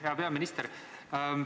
Hea peaminister!